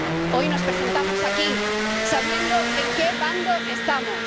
Hoy nos presentamos aquí sabiendo en qué bando estamos.